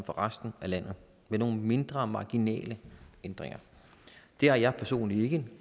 resten af landet med nogle mindre marginale ændringer det har jeg personligt ikke